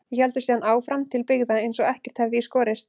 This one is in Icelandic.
Við héldum síðan áfram til byggða eins og ekkert hefði í skorist.